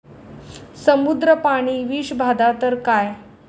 समुद्र पाणी विषबाधा तर काय.